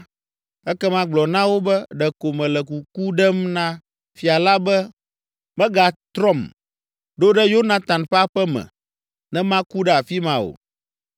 ekema gblɔ na wo be, ‘Ɖeko mele kuku ɖem na fia la be megatrɔm ɖo ɖe Yonatan ƒe aƒe me, ne maku ɖe afi ma o.’ ”